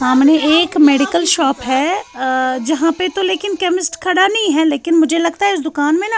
--.سامنے ایک medical shop ہیں ا جھا پی تو لیکن کےمشت خدا نہیں ہیں لیکن مجھے لگتا ہیں اس دکان مے نہ